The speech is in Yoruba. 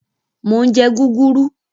Mo ń jẹ́ gúgúrú.